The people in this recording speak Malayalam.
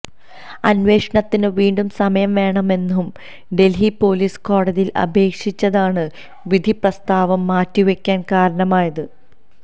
അന്വേഷണത്തിന് വീണ്ടും സമയം വേണമെന്നു ഡൽഹി പൊലീസ് കോടതിയിൽ അപേക്ഷിച്ചതാണ് വിധിപ്രസ്താവം മാറ്റിവയ്ക്കാൻ കാരണമായത്